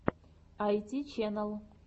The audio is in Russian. айти чэнэл